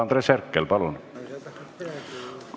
Andres Herkel, palun!